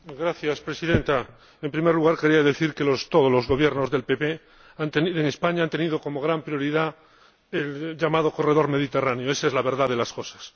Señora Presidenta, en primer lugar quería decir que todos los Gobiernos del PP en España han tenido como gran prioridad el llamado corredor Mediterráneo, esa es la verdad de las cosas.